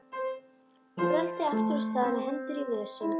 Röltir aftur af stað með hendur í vösum.